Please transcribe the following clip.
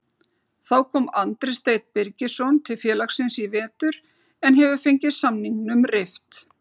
Þá kom Andri Steinn Birgisson til félagsins í vetur en hefur fengið samningnum rift.